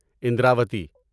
Indravati